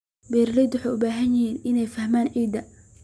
Beeralayda waxay u baahan yihiin inay fahmaan ciidda.